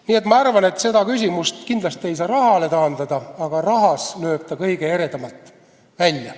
Nii et ma arvan, et seda küsimust kindlasti ei saa rahale taandada, aga rahas lööb ta kõige eredamalt välja.